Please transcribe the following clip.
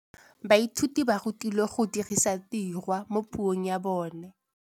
Baithuti ba rutilwe go dirisa tirwa mo puong ya bone.